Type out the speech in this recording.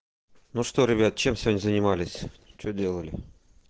ну что ребят чем сегодня занимались что делали